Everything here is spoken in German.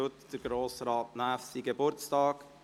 Heute feiert Grossrat Näf seinen Geburtstag.